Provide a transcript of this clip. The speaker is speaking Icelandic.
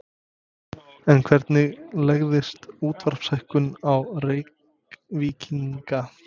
En hvernig legðist útsvarshækkun á Reykvíkinga?